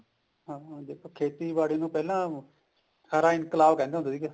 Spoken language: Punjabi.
ਹਾਂਜੀ ਦੇਖੋ ਖੇਤੀਬਾੜੀ ਨੂੰ ਪਹਿਲਾਂ ਹਰਾ ਇਨਕਲਾਬ ਕਹਿੰਦੇ ਹੁੰਦੇ ਸੀਗੇ